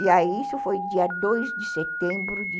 E aí isso foi dia dois de setembro de